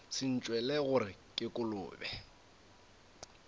se ntšwele gore ke kolobe